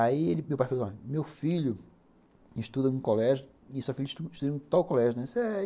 Aí meu pai falou assim, ó, meu filho estuda num colégio, e sua filha estuda num tal colégio, né? é